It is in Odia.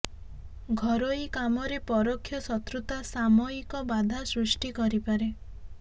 ଘରୋଇ କାମରେ ପରୋକ୍ଷ ଶତ୍ରୁତା ସାମୟିକ ବାଧା ସୃଷ୍ଟି କରିପାରେ